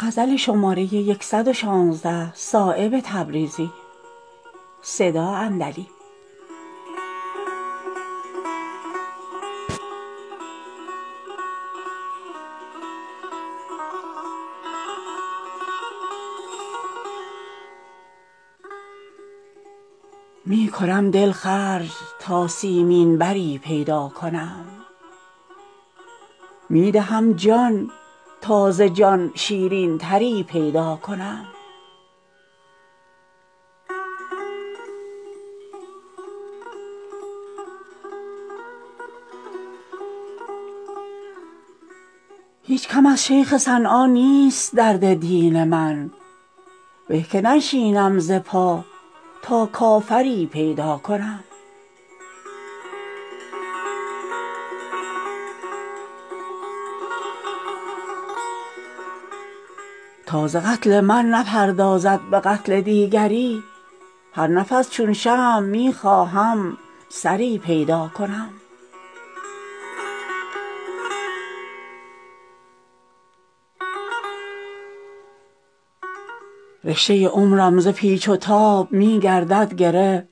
می کنم دل خرج تا سیمین بری پیدا کنم می دهم جان تا زجان شیرین تری پیدا کنم هیچ کم از شیخ صنعان نیست درد دین من به که ننشینم ز پا تا کافری پیدا کنم تا ز قتل من نپردازد به قتل دیگری هر نفس چون شمع می خواهم سری پیدا کنم پاس ناموس وفا دارد مرا ازبیکسان ورنه من هم می توانم دیگری پیدا کنم ساده خواهد شد ز کوه درد و غم صحرای عشق تا من بی صبر و طاقت لنگری پیدا کنم رشته عمرم ز پیچ و تاب می گردد گره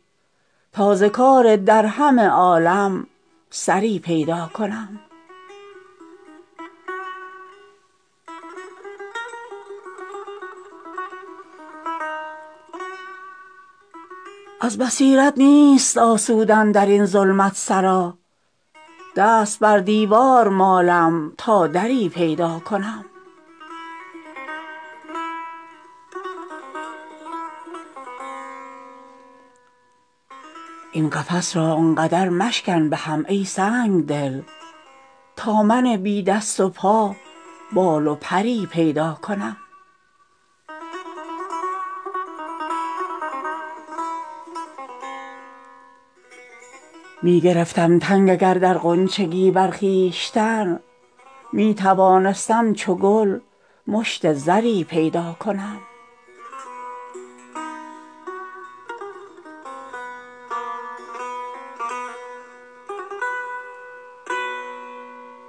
تا ز کار درهم عالم سری پیدا کنم از بصیرت نیست آسودن درین ظلمت سرا دست بر دیوار مالم تا دری پیدا کنم این قفس را آنقدر مشکن بهم ای سنگدل تا من بی دست و پا بال و پری پیدا کنم می گرفتم تنگ اگر در غنچگی بر خویشتن می توانستم چو گل مشت زری پیدا کنم چون ندارم حاصلی صایب بکوشم چون چنار تا به عذر بی بریها جوهری پیدا کنم